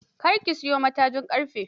Kar ki siyo matajin ƙarfe.